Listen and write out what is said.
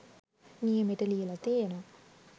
නියමෙට ලියලා තියෙනවා